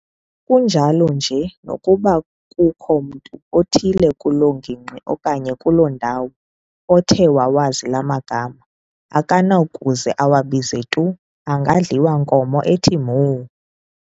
Kunjalo nje nokuba kukho mntu uthile kuloo ngingqi okanye kuloo ndawo othe wawazi laa magama, akanakuze awabize tu, angadliwa inkomo ethi mho!